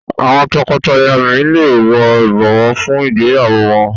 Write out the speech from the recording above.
Àwọn tọkọtaya mí lẹ wò ibọwọ fún ìgbéyàwó wón.